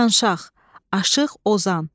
Yanşaq, aşiq, ozan.